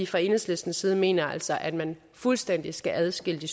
fra enhedslistens side mener vi altså at man fuldstændig skal adskille de